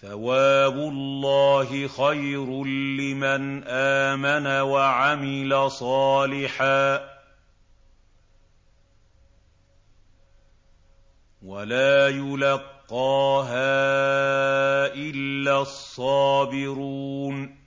ثَوَابُ اللَّهِ خَيْرٌ لِّمَنْ آمَنَ وَعَمِلَ صَالِحًا وَلَا يُلَقَّاهَا إِلَّا الصَّابِرُونَ